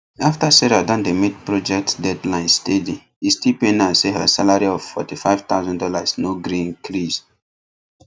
after sarah don dey meet project deadline steady e still pain her say her salary of forty five thousand dollars no gree increase